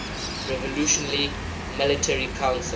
revolutionary military council